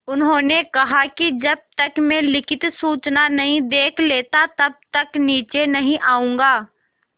उन्होंने कहा कि जब तक मैं लिखित सूचना नहीं देख लेता तब तक नीचे नहीं आऊँगा